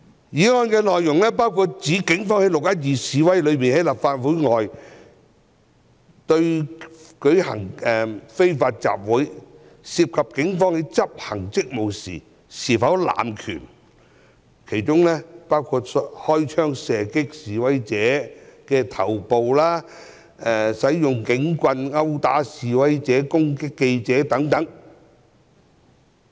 議案內容包括指警方在"六一二"在立法會外舉行的非法集會中，在執行職務時有否濫權，包括開槍射擊示威者頭部、使用警棍圍毆示威者和攻擊記者等。